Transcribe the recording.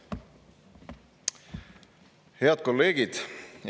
Head kolleegid!